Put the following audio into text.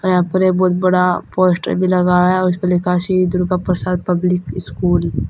यहां पर ये बहुत बड़ा पोस्टर भी लगाया है उसपे लिखा श्री दुर्गा प्रसाद पब्लिक स्कूल ।